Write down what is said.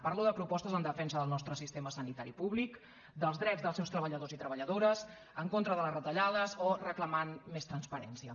parlo de propostes en defensa del nostre sistema sanitari públic dels drets dels seus treballadors i treballadores en contra de les retallades o reclamant més transparència